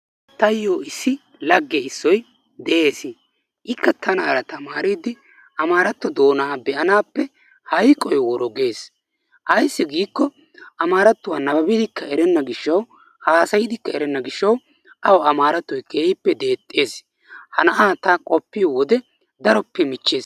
Taayyo issi lagge issoyi de"es ikka tanaara tamaariiddi amaaratto doonaa be"anaappe hayqoyi woro ges. Ayssi giikko amaarattuwa nababidikka erenna gishshawu haasayidikka erenna gishshawu awu amaarattoyi keehippe deexxes. Ha na"aa ta qoppiyo wode daroppe michches.